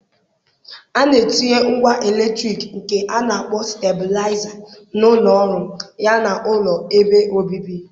A na-etinye ngwá eletrik nke a na akpọ stablaịza na ụlọ ọrụ ya na ụlọ ebe obibi.